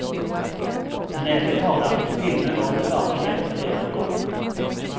Men ärligt talat, finnen var en slagen hjälte redan då.